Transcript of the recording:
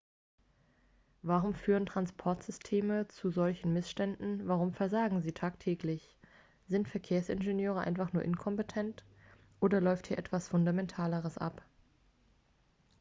warum führen transportsysteme zu solchen missständen warum versagen sie tagtäglich sind verkehrsingenieure einfach nur inkompetent oder läuft hier etwas fundamentaleres ab